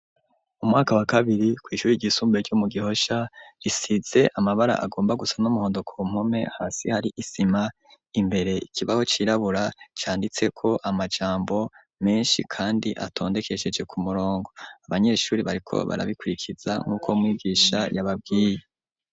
Umwaka wa kabiri kw'ishure ryisumbuye ryo mu Gihosha, risitse amabara agomba gusa n'umuhondo ko mpome, hasi hari isima, imbere hari ikibaho cirabura, canditseko amajambo menshi kandi atondekesheje ku murongo. Abanyeshuri bariko barabikwirikiza nk'uko mwigisha yababwiye.